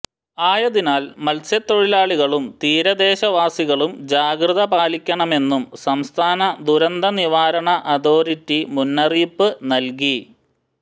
ആയതിനാൽ മത്സ്യത്തൊഴിലാളികളും തീരദേശവാസികളും ജാഗ്രത പാലിക്കണമെന്നും സംസ്ഥാന ദുരന്ത നിവാരണ അതോറിറ്റി മുന്നറിയിപ്പ് നല്കിയി